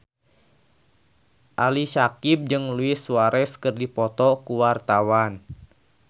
Ali Syakieb jeung Luis Suarez keur dipoto ku wartawan